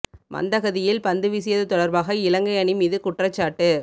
மந்தகதியில் பந்து வீசியது தொடர்பாக இலங்கை அணி மீது குற்றச்சாட்டு